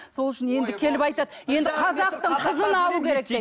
сол үшін енді келіп айтады енді қазақтың қызын алу керек деп